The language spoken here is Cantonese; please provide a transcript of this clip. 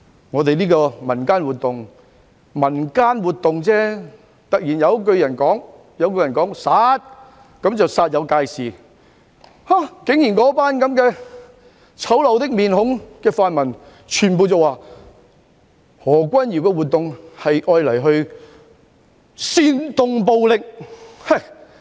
我們舉辦一項民間活動——只是民間活動——但突然有一個人說了一聲"殺"，那群面孔醜陋的泛民便煞有介事，竟然全部人說何君堯的活動是為了煽動暴力。